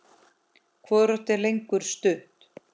Hvorugt er lengur stutt.